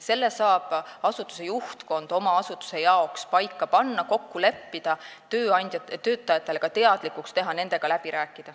Selle saab asutuse juhtkond oma asutuse jaoks paika panna, kokku leppida ja töötajatele ka teatavaks teha ning selle nendega läbi rääkida.